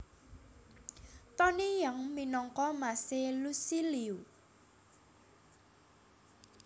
Tony Yang minangka mas e Lusi Liu